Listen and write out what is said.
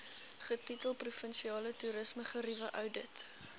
getitel provinsiale toerismegerieweoudit